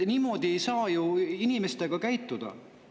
Niimoodi ei saa ju inimestega käituda!